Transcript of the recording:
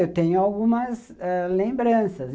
Eu tenho algumas ãh lembranças.